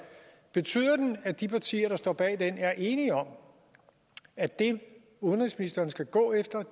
betyder det at de partier der står bag den er enige om at det udenrigsministeren skal gå efter